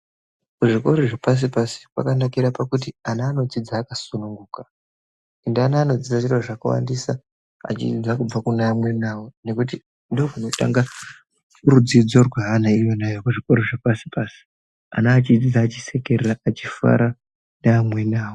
Kuzvikora zvepasi pasi kwakanakira kuti ana anodzidza akasununguka ende ana anodzidza zviro zvakawandisa achiningira kubva kuvamweni vavo nekuti ndizvo zvinotanga rudzidzo rweana rwechikora rwepashi pashi ana achidzidza achisekerera achifara neamweni avo.